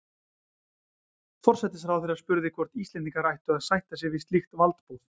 Forsætisráðherra spurði, hvort Íslendingar ættu að sætta sig við slíkt valdboð